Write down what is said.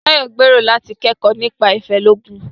Tayo gbèrò láti kẹ́kọ̀ọ́ nípa ilé-oògùn.